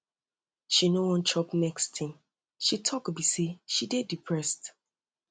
she no wan chop next thing she talk um be say she dey depressed